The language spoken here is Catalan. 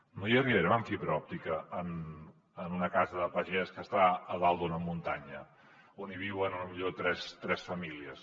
no hi arribarem amb fibra òptica en una casa de pagès que està a dalt d’una muntanya on hi viuen potser tres famílies